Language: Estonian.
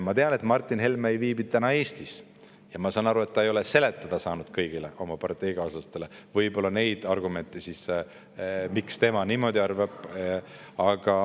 Ma tean, et Martin Helme ei viibi täna Eestis, ja ma saan aru, et ta ei ole võib-olla saanud kõigile oma parteikaaslastele selgitada oma argumente ja seda, miks tema niimoodi arvab.